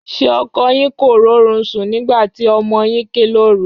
Ṣé ọkọ yín kò rórun sùn nígbà tí ọmọ yín ké lóru?